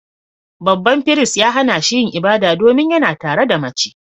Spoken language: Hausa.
Babban firist ya hana shi yin ibada, domin yana tare da mace